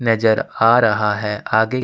नजर आ रहा है आगे --